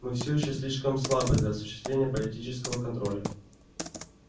мы всё ещё слишком слабы для осуществления политического контроля